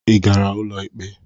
Ị gara ụlọ ikpe?